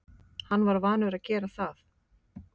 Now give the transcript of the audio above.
Hann var vanur að gera það.